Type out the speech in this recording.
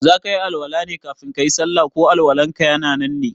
zakayi Al-Wala ne kafin kayi sallah ko Al- walanka ya nan ne?